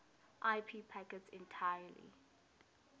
ip packets entirely